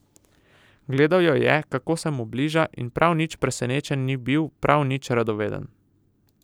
Gledal jo je, kako se mu bliža, in prav nič presenečen ni bil, prav nič radoveden.